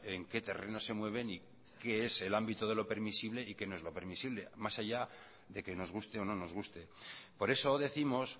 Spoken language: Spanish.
en qué terreno se mueven y qué es el ámbito de lo permisible y qué no es lo permisible más allá de que nos guste o no nos guste por eso décimos